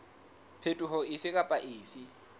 phetoho efe kapa efe e